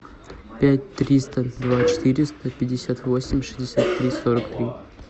пять триста два четыреста пятьдесят восемь шестьдесят три сорок три